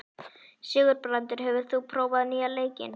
Sigurbrandur, hefur þú prófað nýja leikinn?